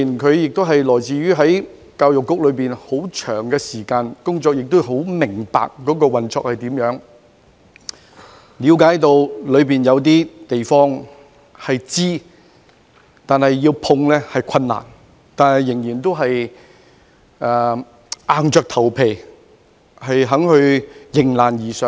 他在教育局工作了很長時間，十分明白局內的運作，亦了解當中存在一些難以觸碰的問題，但他仍然願意硬着頭皮迎難而上。